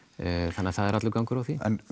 þannig að það er allur gangur á því en